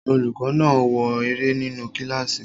Olùkọ́ náà ń wo eré nínu kílásì